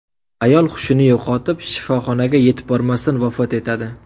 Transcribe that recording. Ayol hushini yo‘qotib, shifoxonaga yetib bormasdan vafot etadi.